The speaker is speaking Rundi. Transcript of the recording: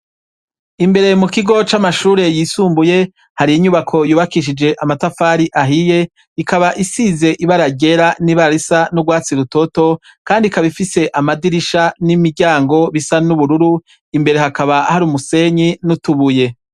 Imbere mu kigo c'amashure yisumbuye, hari inyubako yubakishije amatafari ahiye, ikaba isize ibara ryera n'ibara risa n'urwatsi rutoto, kandi ikaba ifise amadirisha n'imiryango bisa n'ubururu. Imbere hakaba hari umusenyi n'utubuye.